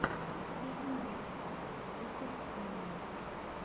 последний выпуск етель анима